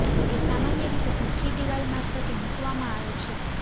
તે સામાન્ય રીતે ભઠ્ઠી દિવાલ મારફતે મૂકવામાં આવે છે